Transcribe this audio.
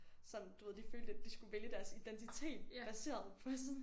Sådan du ved de følte lidt de skulle vælge deres identitet baseret på sådan